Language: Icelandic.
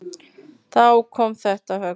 Þá kom þetta högg.